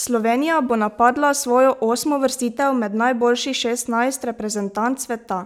Slovenija bo napadla svojo osmo uvrstitev med najboljših šestnajst reprezentanc sveta,